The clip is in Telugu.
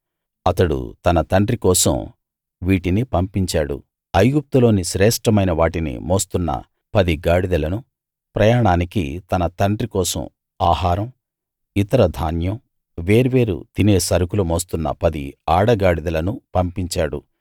అతడు తన తండ్రి కోసం వీటిని పంపించాడు ఐగుప్తులోని శ్రేష్ఠమైన వాటిని మోస్తున్న పది గాడిదలనూ ప్రయాణానికి తన తండ్రి కోసం ఆహారం ఇతర ధాన్యం వేర్వేరు తినే సరుకులు మోస్తున్న పది ఆడ గాడిదలనూ పంపించాడు